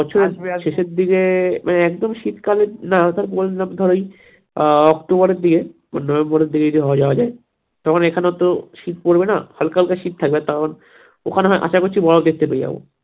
বছরের শেষের দিকে মানে একদম শীতকাল না ধর ওই আহ অক্টোবরের দিকে বা নভেম্বরের দিকে যদি যাওয়া যাই তখন এখানে তো শীত পরবে না হালকা হালকা শীত থাকবে তখন ওখানে আশা করছি বরফ দেখতে পেয়ে যাবো